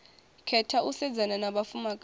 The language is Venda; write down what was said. khetha u sedzana na vhafumakadzi